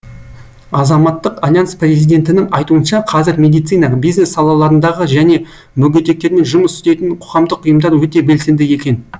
азаматтық альянс президентінің айтуынша қазір медицина бизнес салаларындағы және мүгедектермен жұмыс істейтін қоғамдық ұйымдар өте белсенді екен